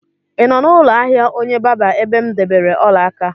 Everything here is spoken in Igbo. Ị nọ n'ụlọ ahịa onye barber ebe m debere ọla aka?